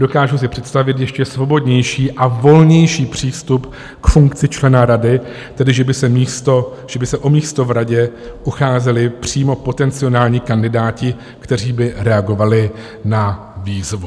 Dokážu si představit ještě svobodnější a volnější přístup k funkci člena rady, tedy že by se o místo v radě ucházeli přímo potenciální kandidáti, kteří by reagovali na výzvu.